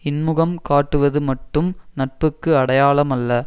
இன்முகம் காட்டுவது மட்டும் நட்புக்கு அடையாளமல்ல